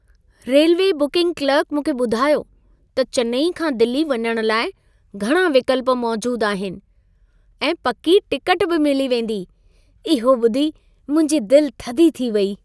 Railway booking clerk मूंखे ॿुधायो त चेन्नई खां दिल्ली वञण लाइ घणा विकल्प मौजूद आहिनि ऐं पकी टिकट बि मिली वेंदी। इहो ॿुधी मुंहिंजी दिल थधी थी वेई।